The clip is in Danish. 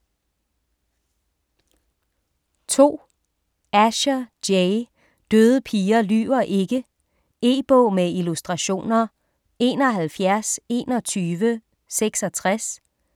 2. Asher, Jay: Døde piger lyver ikke E-bog med illustrationer 712166